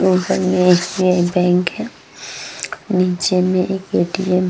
घर में एक एस.बी.आई. बैंक है नीचे में एक ए.टी.एम. --